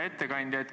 Hea ettekandja!